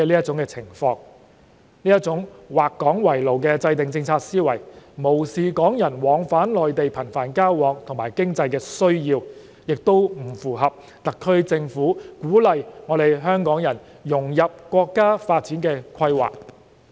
這種"劃港為牢"的制訂政策思維，既無視有些港人頻繁往返內地的需要，亦不符合特區政府鼓勵港人融入國家發展規劃。